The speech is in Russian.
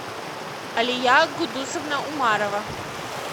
алия гудусовна умарова